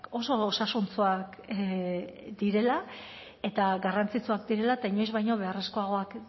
oso osasuntsuak direla eta garrantzitsuak direla eta inoiz baino beharrezkoagoak